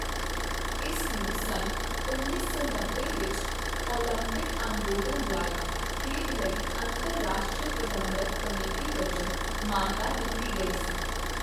ਇਸ ਨੂੰ ਸੰਨ ਉੱਨੀ ਸੌ ਨੱਬੇ ਵਿੱਚ ਓਲੰਪਿਕ ਅੰਦੋਲਨ ਦੁਆਰਾ ਖੇਡ ਲਈ ਅੰਤਰਰਾਸ਼ਟਰੀ ਪ੍ਰਬੰਧਕ ਕਮੇਟੀ ਵਜੋਂ ਮਾਨਤਾ ਦਿੱਤੀ ਗਈ ਸੀ।